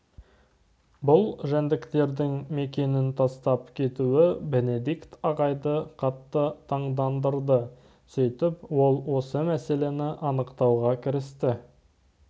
бұл жәндіктердің мекенін тастап кетуі бенедикт ағайды қатты таңдандырды сөйтіп ол осы мәселені анықтауға кірісті